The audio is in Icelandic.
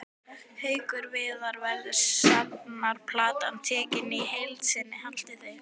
Haukur Viðar: Verður safnplatan tekin í heild sinni haldið þið?